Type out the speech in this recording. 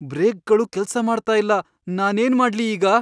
ಬ್ರೇಕ್ಗಳು ಕೆಲ್ಸ ಮಾಡ್ತಾ ಇಲ್ಲ. ನಾನೇನ್ ಮಾಡ್ಲಿ ಈಗ?